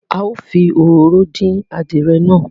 A ó fi òróró dín adìẹ náà